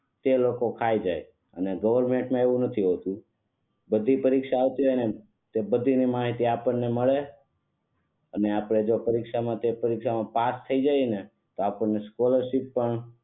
તે લોકો ખાઈ જાય અને ગવર્નમેન્ટ માં એવું નથી હોતું બધી પરીક્ષાઓ આવતી હોય ને તેની માહિતી આપણને મળે અને જો આપણે તે પરીક્ષા માં પાસ થઇ જઇયે ને તો આપણને સ્કોલરશીપ પણ